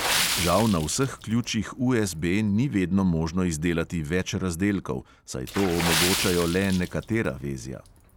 Žal na vseh ključih USB ni vedno možno izdelati več razdelkov, saj to omogočajo le nekatera vezja.